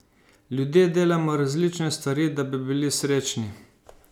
Ljudje delamo različne stvari, da bi bili srečni.